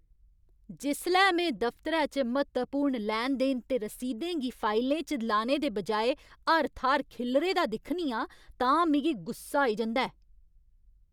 जिसलै में दफतरै च म्हत्तवपूर्ण लैन देन ते रसीदें गी फाइलें च लाने दे बजाए हर थाह्‌र खिल्लरे दा दिक्खनी आं तां मिगी गुस्सा आई जंदा ऐ।